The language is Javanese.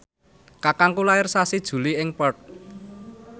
kakangku lair sasi Juli ing Perth